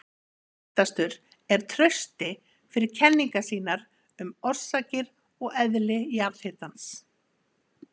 Þekktastur er Trausti fyrir kenningar sínar um orsakir og eðli jarðhitans.